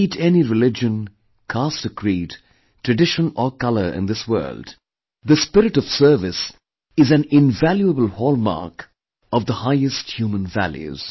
Be it any religion, caste or creed, tradition or colour in this world; the spirit of service is an invaluable hallmark of the highest human values